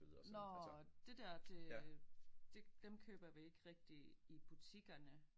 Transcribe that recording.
Nåh det der det det dem køber vi ikke rigtig i butikkerne